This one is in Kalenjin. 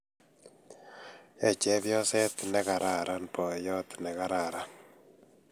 Yoe chepyoset negararan boyot negararan